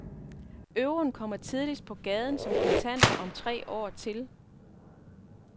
Euroen kommer tidligst på gaden, som kontanter, om tre år til.